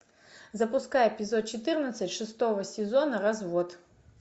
запускай эпизод четырнадцать шестого сезона развод